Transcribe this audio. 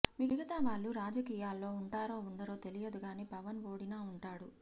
మిగతా వాళ్లు రాజకీయాల్లో ఉంటారో ఉండరో తెలియదు గాని పవన్ ఓడినా ఉంటాడు